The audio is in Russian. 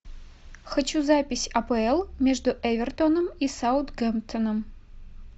хочу запись апл между эвертоном и саутгемптоном